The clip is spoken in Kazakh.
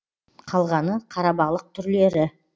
қалғаны қарабалық түрлері